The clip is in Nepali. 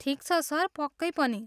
ठिक छ सर, पक्कै पनि।